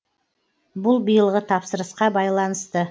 бұл биылғы тапсырысқа байланысты